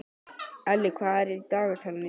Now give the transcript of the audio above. Elli, hvað er í dagatalinu í dag?